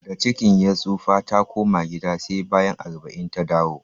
Da cikin ya tsofa, ta koma gida sai bayan arba'in ta dawo